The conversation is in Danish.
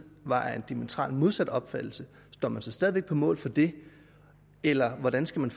var af en diametralt modsat opfattelse står man så stadig væk på mål for det eller hvordan skal